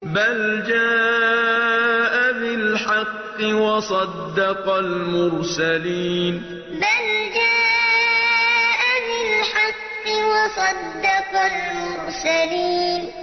بَلْ جَاءَ بِالْحَقِّ وَصَدَّقَ الْمُرْسَلِينَ بَلْ جَاءَ بِالْحَقِّ وَصَدَّقَ الْمُرْسَلِينَ